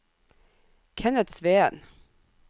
Kenneth Sveen